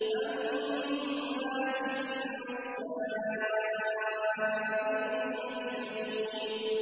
هَمَّازٍ مَّشَّاءٍ بِنَمِيمٍ